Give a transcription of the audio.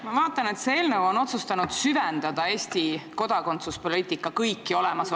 Ma vaatan, et selles eelnõus on otsustatud süveneda kõikidesse Eesti kodakondsuspoliitika probleemidesse.